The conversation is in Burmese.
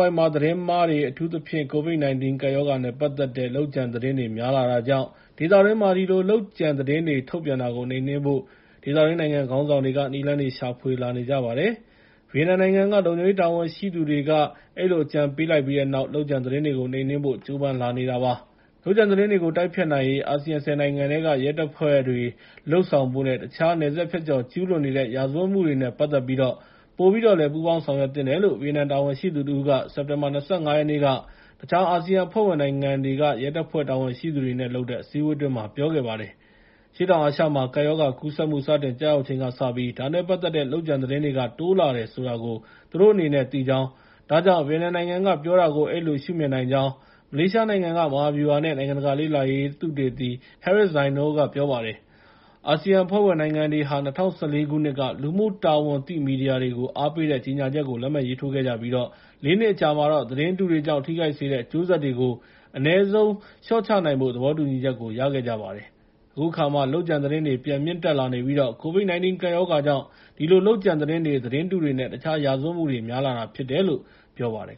ဝိုက်မှာ သတင်းမှားတွေ အထူးသဖြင့် ကိုဗစ် ၁၉ ကပ်ရောဂါနဲ့ ပတ်သက်တဲ့ လုပ်ကြံသတင်းတွေ များလာတာကြောင့် ဒေသတွင်းမှာ ဒီလို လုပ်ကြံသတင်းတွေ ထုတ်ပြန်တာကို နှိမ်နှင်းဖို့ ဒေသတွင်းနိုင်ငံခေါင်းဆောင်တွေက နည်းလမ်းတွေရှာဖွေလာနေကြပါတယ်။ ဗီယက်နမ်နိုင်ငံက လုံခြုံရေးတာဝန်ရှိသူတွေက အဲဒီလို အကြံပေးလိုက်ပြီးတဲ့နောက်မှာ လုပ်ကြံသတင်းတွေကို နှိမ်နှင်းဖို့ ကြိုးပမ်းလာနေတာပါ။ လုပ်ကြံသတင်းတွေကို တိုက်ဖျက်နိုင်ရေး အာဆီယံ ၁၀ နိုင်ငံက ရဲတပ်ဖွဲ့တွေ လုပ်ဆောင်ဖို့နဲ့ တခြား နယ်စပ်ဖြတ်ကျော်ကျူးလွန်နေတဲ့ ရာဇဝတ်မှုတွေနဲ့ ပတ်သက်ပြီးတော့ ပိုပြီးတော့ ပူးပေါင်းဆောင်ရွက်သင့်တယ်လို့ ဗီယက်နမ်တာဝန်ရှိသူတဦးက စက်တင်ဘာ ၂၅ ရက်နေ့က တခြားအာဆီယံအဖွဲ့ဝင်နိုင်ငံတွေက ရဲတပ်ဖွဲ့ တာဝန်ရှိသူတွေနဲ့လုပ်တဲ့ အစည်းအဝေးအတွင်း ပြောခဲ့ပါတယ်။ အရှေ့တောင်အာရှမှာ ကပ်ရောဂါကူးစက်မှု စတင်ကျရောက်ချိန်ကစပြီး ဒါနဲ့ပတ်သက်တဲ့ လုပ်ကြံသတင်းတွေက တိုးလာတယ်ဆိုတာကို သူတို့အနေနဲ့ သိကြောင်း၊ ဒါကြောင့် ဗီယက်နမ်နိုင်ငံကပြောတာကို အဲဒီလို ရှုမြင်နိုင်ကြောင်း မလေးရှားနိုင်ငံက မဟာဗျူဟာနဲ့ နိုင်ငံတကာလေ့လာရေးဌာန သုသေတီ Harris Zainul က ပြောပါတယ်။ အာဆီယံအဖွဲ့ဝင်နိုင်ငံတွေဟာ ၂၀၁၄ ခုနှစ်က လူမှုတာဝန်သိမီဒီယာတွေကို အားပေးတဲ့ ကြေငြာချက်ကို လက်မှတ်ရေးထိုးခဲ့ကြပြီး ၄ နှစ်အကြာမှာတော့ သတင်းတုတွေကြောင့် ထိခိုက်စေတဲ့ အကျိုးဆက်တွေကို အနည်းဆုံးလေ ျှာ့ချနိုင်ဖို့ သဘောတူညီချက်ကို ရခဲ့ကြပါတယ်။ အခုအခါမှာတော့ လုပ်ကြံသတင်းတွေ ပြန်မြင့်တက်လာနေပြီး ကိုဗစ် ၁၉ ကပ်ရောဂါကြောင့် ဒီလို လုပ်ကြံသတင်းတွေ၊ သတင်းတုတွေနဲ့ တခြား ရာဇဝတ်မှုတွေ များလာတာဖြစ်တယ်လို့ ပြောပါတယ်